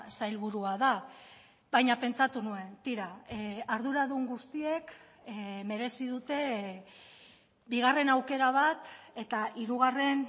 sailburua da baina pentsatu nuen tira arduradun guztiek merezi dute bigarren aukera bat eta hirugarren